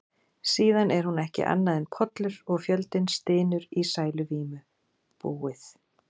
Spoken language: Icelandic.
Síðan er hún ekki annað en pollur, og fjöldinn stynur í sæluvímu: búið.